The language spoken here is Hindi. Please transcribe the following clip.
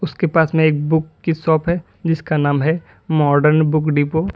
उसके पास में एक बुक की शॉप है जिसका नाम है माडर्न बुक डिपो ।